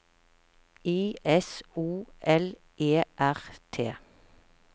I S O L E R T